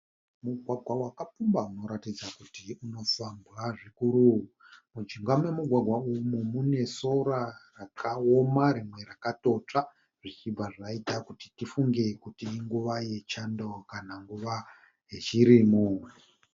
Mugwagwa wakapfumba unoratidza kuti unofambwa zvikuru. Mujinga memu gwagwa umu mune sora rakaoma rimwe rakatotsva zvichibva zvaita kuti tifunge kuti inguva yechando kana nguva yechirimo.